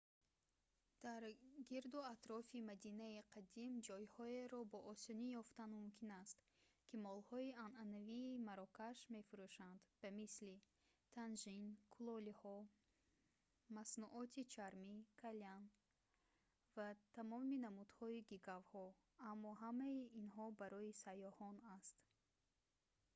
дар гирду атрофи мадинаи қадим ҷойҳоеро бо осонӣ ёфтан мумкин аст ки молҳои анъанавии марокаш мефурӯшанд ба мисли тажин кулолиҳо маснуоти чармӣ калян ва тамоми намудҳои гигавҳо аммо ҳамаи инҳо ин барои сайёҳон аст